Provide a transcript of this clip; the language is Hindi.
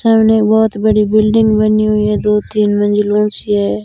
सामने बहुत बड़ी बिल्डिंग बनी हुई है दो तीन मंजिलों सी है।